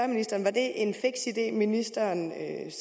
ministeren var det en fiks idé som ministeren